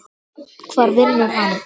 Hvar vinnur hann?